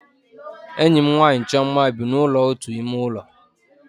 Enyi m nwaanyị Chioma bi na ụlọ otu ime ụlọ